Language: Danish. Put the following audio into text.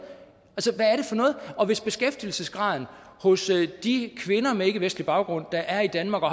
og hvis beskæftigelsesgraden hos de kvinder med ikkevestlig baggrund der er i danmark og